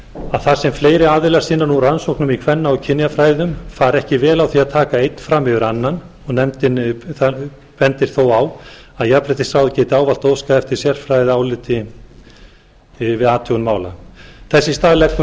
að þar sem fleiri aðilar sinna nú rannsóknum í kvenna og kynjafræðum fari ekki vel á því að taka einn fram fyrir annan nefndin bendir þó á að jafnréttisráð geti ávallt óskað eftir sérfræðiaðstoð við athugun mála þess í stað leggur